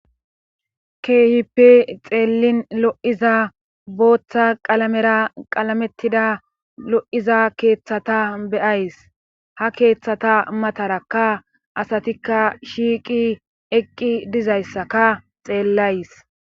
keehippe xeellin lo7iza booththa qalamera qalamettida lo7iza keeththata beyays ha keeththata matarakka asatikka shiiqi eqqi dizayssaka xeellays